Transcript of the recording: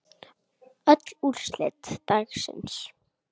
Öll úrslit dagsins